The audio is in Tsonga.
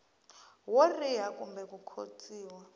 wo riha kumbe ku khotsiwa